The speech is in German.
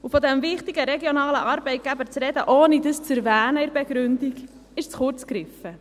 Von diesem wichtigen regionalen Arbeitgeber zu sprechen, ohne dies in der Begründung zu erwähnen, ist zu kurz gegriffen.